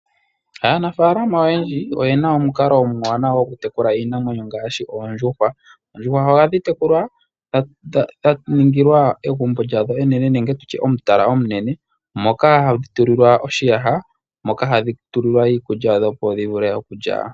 Aanafaalama oyendji oye na omukalo omuwanawa gokutekula iinamwenyo ngaashi oondjuhwa. Oondjuhwa ohadhi tekulwa dha ningilwa egumbo nenge omutala omunene moka hadhi tulilwa oshiyaha moka hadhi tulilwa iikulya yadho, opo dhi vule okulya.